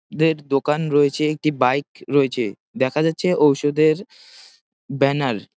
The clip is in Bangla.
দের দোকান রয়েছে একটি বাইক রয়েছে। দেখা যাচ্ছে ঔষধের ব্যানার ।